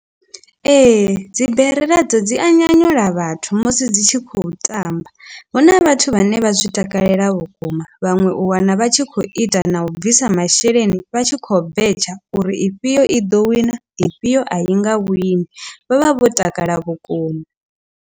Ee, dzibere nadzo dzi a nyanyula vhathu musi dzi tshi khou tamba huna vhathu vhane vha zwi takalela vhukuma vhaṅwe u wana vha tshi khou ita na u bvisa masheleni vha tshi khou betshe uri ifhio i ḓo wina ifhio a i nga vhoinwi vho vha vho takala vhukuma.